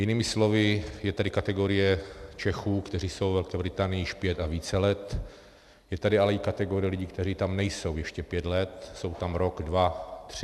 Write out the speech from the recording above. Jinými slovy, je tady kategorie Čechů, kteří jsou ve Velké Británii již pět a více let, je tady ale i kategorie lidí, kteří tam nejsou ještě pět let, jsou tam rok, dva, tři.